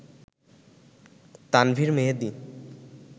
Tanvir Mehedi